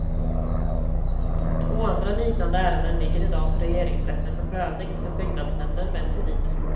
Två andra liknande ärenden ligger idag hos regeringsrätten för prövning sedan byggnadsnämnden vänt sig dit.